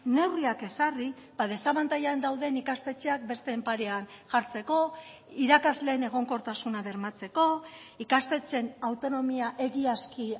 neurriak ezarri desabantailan dauden ikastetxeak besteen parean jartzeko irakasleen egonkortasuna bermatzeko ikastetxeen autonomia egiazki